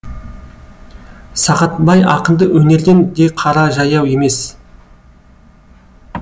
сағатбай ақынды өнерден де қара жаяу емес